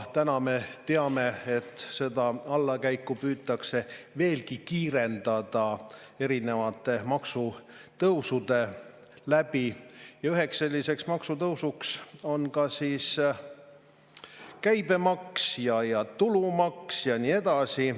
Täna me teame, et seda allakäiku püütakse veelgi kiirendada erinevate maksude tõstmise abil ja sellisteks maksudeks on käibemaks, tulumaks ja nii edasi.